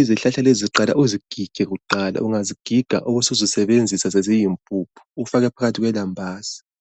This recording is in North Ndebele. Izihlahla lezi uqala uzigige kuqala ungazigiga ubusuzisebenzisa seziyimpuphu ufake phakathi kwelambazi.